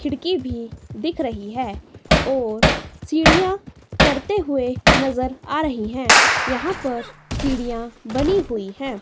खिड़की भी दिख रही है और सीढ़ियां चढ़ते हुए नजर आ रही है यहां पर सीढ़ियां बनी हुई है।